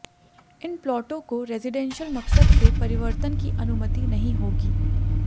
इन प्लॉटों को रेजिडेंशल मकसद से परिवर्तन की अनुमति नहीं होगी